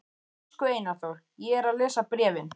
Elsku Einar Þór, ég er að lesa bréfin.